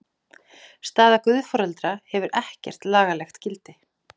Staða guðforeldra hefur ekkert lagalegt gildi.